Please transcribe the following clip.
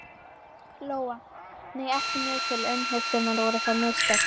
Lóa: Nei, ekki mjög til umhugsunar, voru það mistök?